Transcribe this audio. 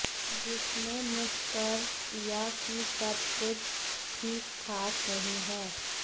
जिसने निष्कर्ष दिया कि सब कुछ ठीकठाक नहीं है